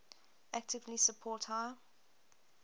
actively support high